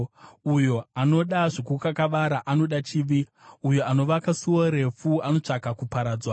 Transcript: Uyo anoda zvokukakavara anoda chivi; uyo anovaka suo refu anotsvaka kuparadzwa.